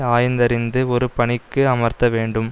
ஆய்ந்தறிந்து ஒரு பணிக்கு அமர்த்த வேண்டும்